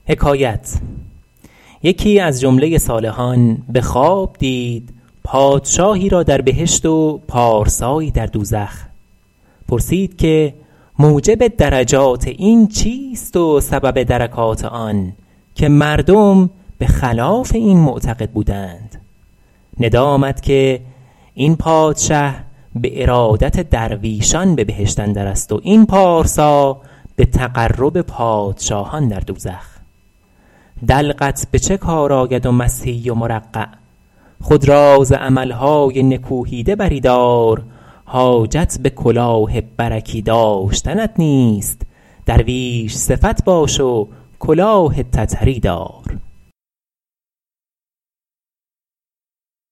یکی از جمله صالحان به خواب دید پادشاهی را در بهشت و پارسایی در دوزخ پرسید که موجب درجات این چیست و سبب درکات آن که مردم به خلاف این معتقد بودند ندا آمد که این پادشه به ارادت درویشان به بهشت اندر است و این پارسا به تقرب پادشاهان در دوزخ دلقت به چه کار آید و مسحی و مرقع خود را ز عمل های نکوهیده بری دار حاجت به کلاه برکی داشتنت نیست درویش صفت باش و کلاه تتری دار